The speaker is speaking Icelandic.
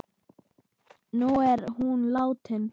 Nú er hún látin.